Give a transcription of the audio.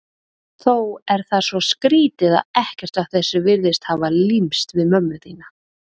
Þó er það svo skrýtið að ekkert af þessu virðist hafa límst við mömmu þína.